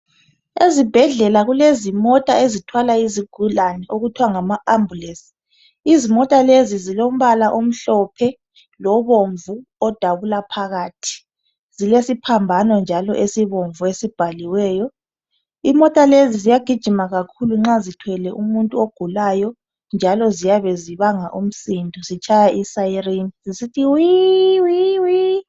Ezibhedlela kulezimota ezithwala izigulane okuthiwa ngama ambulance izimota lezi zilombala omhlophe lobomvu odabula phakathi zilesiphambano njalo esibomvu esibhaliweyo imota lezi ziyagijima kakhulu nxa zithwele umuntu ogulayo njalo ziyabe zibanga umsindo zitshaya isiren zisithi wi wi wi.